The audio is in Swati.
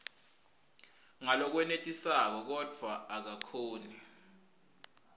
ngalokwenetisako kodvwa akakhoni